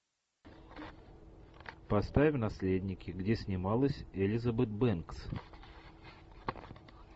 поставь наследники где снималась элизабет бэнкс